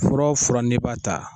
Fura o fura n'i b'a ta.